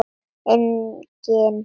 Enginn þar.